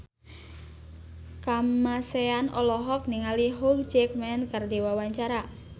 Kamasean olohok ningali Hugh Jackman keur diwawancara